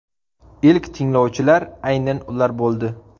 Ilk tinglovchilar aynan ular bo‘ldi.